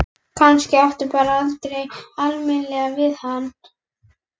Kannski átti það bara aldrei almennilega við hann.